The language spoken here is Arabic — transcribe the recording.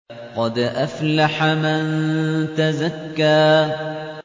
قَدْ أَفْلَحَ مَن تَزَكَّىٰ